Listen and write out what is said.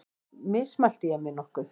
Mismælti ég mig nokkuð?